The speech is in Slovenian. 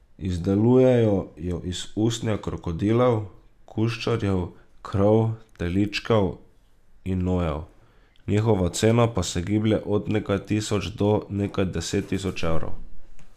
Izdelujejo jo iz usnja krokodilov, kuščarjev, krav, teličkov in nojev, njihova cena pa se giblje od nekaj tisoč do nekaj deset tisoč evrov.